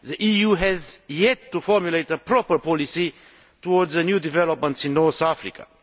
The EU has yet to formulate a proper policy towards the new developments in North Africa.